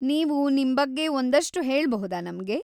ನೀವು ನಿಮ್ಬಗ್ಗೆ ಒಂದಷ್ಟು ಹೇಳ್ಬಹುದಾ ನಮ್ಗೆ?